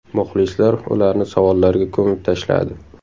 Muxlislar ularni savollarga ko‘mib tashladi.